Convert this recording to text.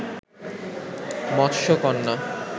মৎস কন্যা